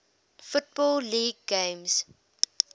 football league games